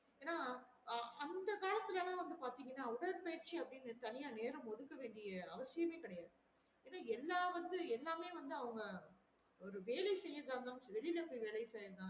ஏன்னா அஹ் அந்த காலத்துல வந்து பாத்தேங்ன்னா உடற்பயிற்சி அப்டிங்குற நேரம் ஒதுக்க வேண்டிய அவசியமே கெடையாது என்னன்னா எல்லா வந்து எல்லாமே அவங்க ஒரு வேலை செய்யறதா இருந்தாலும் வெளியில போய் வேல செய்றான்